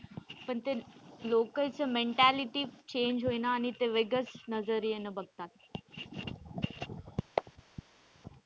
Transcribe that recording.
पण ते लोकांचं mentality change होईना आणि ते वेगळंच नजरीयेने बघतात.